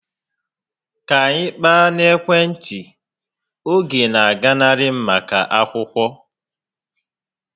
Ka anyị kpaa n'ekwentị, oge na aganarị m maka akwụkwọ